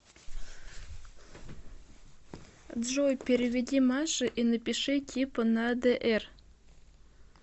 джой переведи маше и напиши типа на др